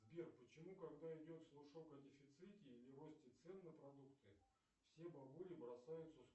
сбер почему когда идет слушок о дефиците или росте цен на продукты все бабули бросаются